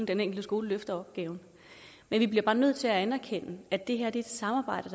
den enkelte skole løfter opgaven men vi bliver bare nødt til at anerkende at det her er et samarbejde